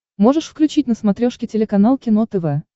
можешь включить на смотрешке телеканал кино тв